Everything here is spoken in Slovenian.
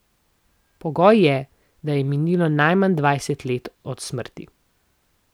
Pogoj je, da je minilo najmanj dvajset let od smrti.